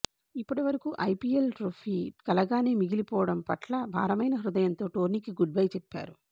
ఇప్పటివరకు IPL trophy కలగానే మిగిలిపోవడం పట్ల భారమైన హృదయంతో టోర్నీకి గుడ్బై చెప్పారు